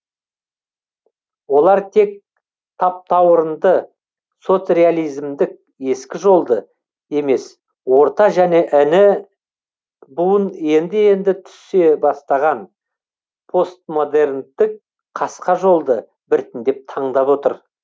олар тек таптауырынды соцреализмдік ескі жолды емес орта және іні буын енді енді түсе бастаған постмодерндік қасқа жолды біртіндеп таңдап отыр